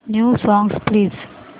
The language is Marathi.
new songs please